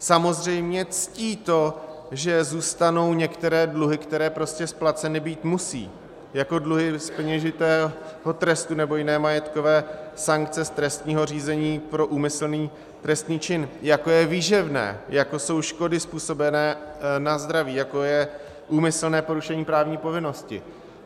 Samozřejmě ctí to, že zůstanou některé dluhy, které prostě splaceny být musí, jako dluhy z peněžitého trestu nebo jiné majetkové sankce z trestního řízení pro úmyslný trestný čin, jako je výživné, jako jsou škody způsobené na zdraví, jako je úmyslné porušení právní povinnosti.